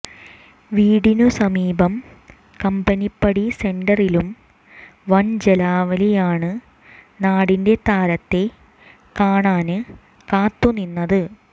വീടിനു സമീപം കമ്പനിപ്പടി സെന്ററിലും വന് ജനാവലിയാണ് നാടിന്റെ താരത്തെ കാണാന് കാത്തുനിന്നത്